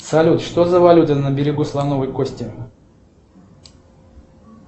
салют что за валюта на берегу слоновой кости